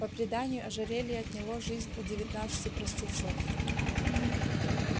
по преданию ожерелье отняло жизнь у девятнадцати простецов